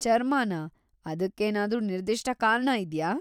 ಚರ್ಮನಾ? ಅದಕ್ಕೇನಾದ್ರೂ ನಿರ್ದಿಷ್ಟ ಕಾರಣ ಇದ್ಯಾ?